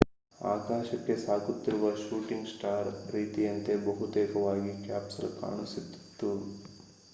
ಆಕಾಶಕ್ಕೆ ಸಾಗುತ್ತಿರುವ shooting star ರೀತಿಯಂತೆಯೇ ಬಹುತೇಕವಾಗಿ ಕ್ಯಾಪ್ಸೂಲ್ ಕಾಣಿಸುತ್ತಿತ್ತು